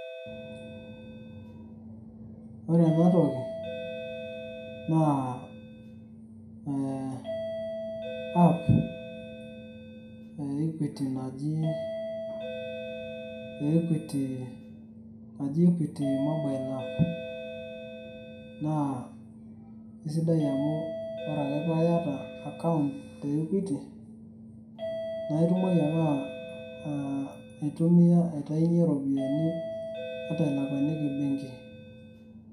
Ore enatoki naa ee app e equity naji equity mobile app naa isidai amu ore ake piiyata account te equity naa itumoki akee aa aitumia aitayunyie iropiani ata ilakuaniki benki.